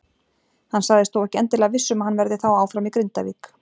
Hann sagðist þó ekki endilega viss um að hann verði þá áfram í Grindavík.